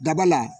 Daba la